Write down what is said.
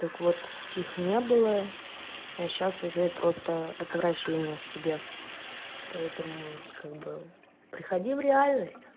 так вот их не было а сейчас уже просто отвращение к тебе поэтому как бы приходи в реальность